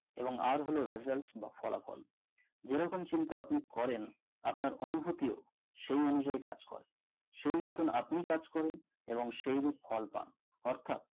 এবং R হলো Result বা ফলাফল যে রকম চিন্তা আপনি করেন আপনার অনুভূতি ও সেই অনুযায়ী কাজ করে সেই মতো আপনি কাজ করেন এবং সেইরূপ ফল পান অর্থাৎ